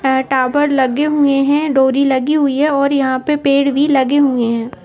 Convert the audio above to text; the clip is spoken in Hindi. टावर लगे हुए हैं डोरी लगी हुई है और यहाँं पर पेड़ भी लगे हुए हैं।